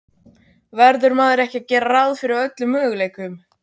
Verður maður ekki að gera ráð fyrir öllum möguleikum?